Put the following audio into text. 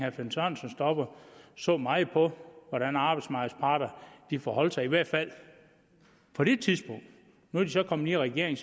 så meget på hvordan arbejdsmarkedets parter forholdt sig i hvert fald på det tidspunkt nu er de så kommet i regering